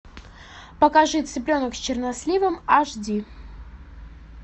покажи цыпленок с черносливом аш ди